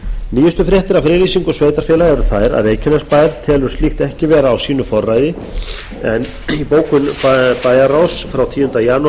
nýjustu fréttir af friðlýsingu sveitarfélaga eru þær að reykjanesbær telur slíkt ekki vera á sínu forræði en í bókun bæjarráðs frá tíunda janúar